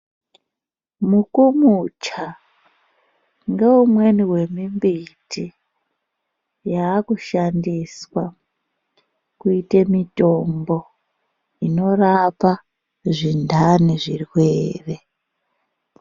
Mukomocha ngeumweni wemimbiti yakushandiswa kuite mitombo inorapa zvindani, zvirwere.